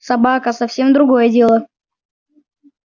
собака совсем другое дело